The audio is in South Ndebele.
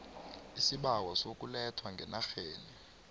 isibawo sokulethwa ngenarheni